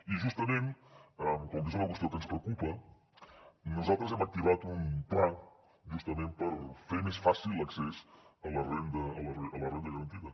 i justament com que és una qüestió que ens preocupa nosaltres hem activat un pla justament per fer més fàcil l’accés a la renda garantida